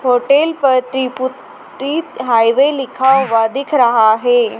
Hotel पर त्रिपुत त्रिप हाईवे लिखा हुआ दिख रहा है।